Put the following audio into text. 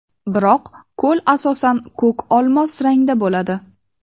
Biroq ko‘l asosan ko‘k-olmos rangda bo‘ladi.